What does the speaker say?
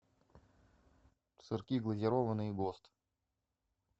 сырки глазированные гост